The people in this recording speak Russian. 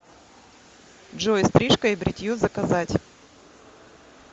джой стрижка и бритье заказать